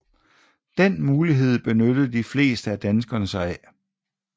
Den mulighed benyttede de fleste af danskerne sig af